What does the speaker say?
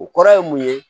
O kɔrɔ ye mun ye